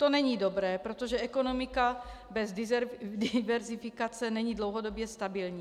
To není dobré, protože ekonomika bez diverzifikace není dlouhodobě stabilní.